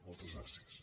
moltes gràcies